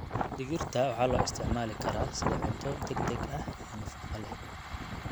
Digirta waxaa loo isticmaali karaa sida cunto degdeg ah iyo nafaqo leh.